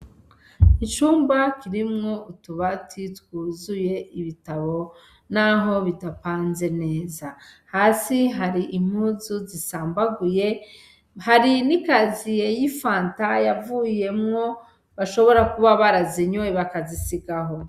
Icumba kirimwo utubati twuzuye ibitabo naho bidapanze neza hasi hari impuzu zisambaguye hari n' ikaziye y' ifanta yavuyemwo bashobora kuba barazinyoye bakazisiga aho.